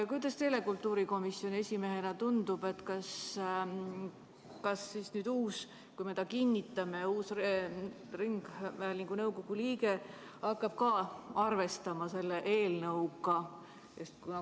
Kuidas teile kultuurikomisjoni esimehena tundub, kas uus ringhäälingu nõukogu liige, kui me ta kinnitame, hakkab ka arvestama selle eelnõuga?